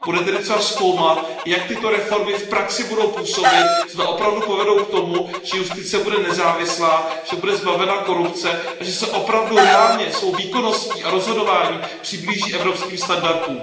Bude tedy třeba zkoumat, jak tyto reformy v praxi budou působit, zda opravdu povedou k tomu, že justice bude nezávislá, že bude zbavena korupce a že se opravdu reálně svou výkonností a rozhodováním přiblíží evropským standardům.